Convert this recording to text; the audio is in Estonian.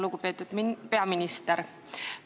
Lugupeetud peaminister!